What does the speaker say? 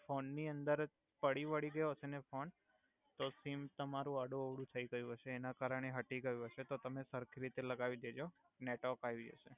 Phone ની અંદર પડી બડી ગયો હસે ને ફોન તો સિમ તમારુ આડુ-અવડુ થઈ ગયુ હસે એના કારણે હટી ગયુ હસે તો તમે સરખી રિતે લગાવી દેજો નેટવર્ક આવી જસે.